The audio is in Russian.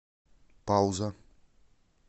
пауза